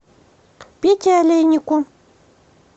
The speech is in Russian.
пете олейнику